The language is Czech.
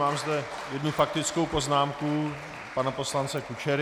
Mám zde jednu faktickou poznámku pana poslance Kučery.